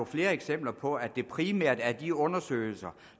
flere eksempler på at det primært er de undersøgelser